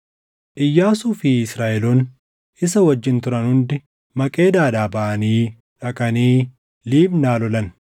Iyyaasuu fi Israaʼeloonni isa wajjin turan hundi Maqeedaadhaa baʼanii dhaqanii Libnaa lolan.